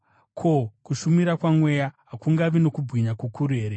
ko, kushumira kwaMweya hakungavi nokubwinya kukuru here?